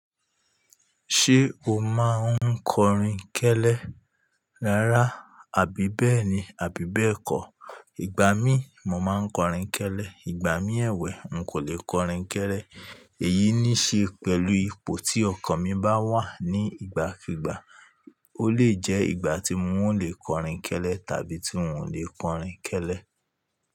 Ṣé o máa ń kọrin kẹ́lẹ́ rárá àbí bẹ́ẹ̀ni àbí bẹ́ẹ̀ kọ́? Ìgbà mí, mo máa ń kọrin kẹ́lẹ́, ìgbà mí ẹ̀wẹ̀, n kò lè kọrin kẹ́lẹ́. Èyí ní ṣe pẹ̀lú ipò tí ọkàn mi bá wà ní ìgbàkígbà. Ó lè jẹ́ ìgbà tí mo lè kọrin kẹ́lẹ́ tàbí tí n ò lè kọrin kẹ́lẹ́.